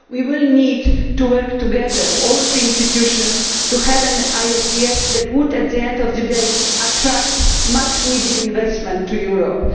We will need to work together all three institutions to have an ISDS that will, at the end of the day, attract much needed investment to Europe.